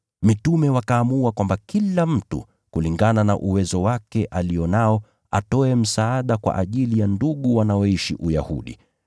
Mitume wakaamua kwamba kila mtu, kulingana na uwezo alio nao, atoe msaada kwa ajili ya ndugu wanaoishi Uyahudi.